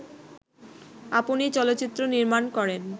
আপনি চলচ্চিত্র নির্মাণ করেন